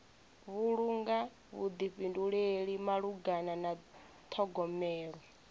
vhulunga vhuḓifhinduleli malugana na ṱhogomelo